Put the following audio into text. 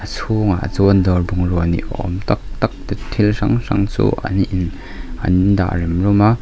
a chhungah chuan dawr bungrua ni awm tak tak te thil hrang hrang chu an in an dah rem rum a.